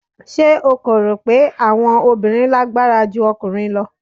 Ṣé o kò rò pé àwọn obìnrin lágbára ju ọkùnrin lọ?